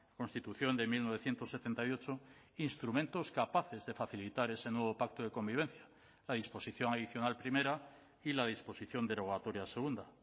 constitución de mil novecientos setenta y ocho instrumentos capaces de facilitar ese nuevo pacto de convivencia la disposición adicional primera y la disposición derogatoria segunda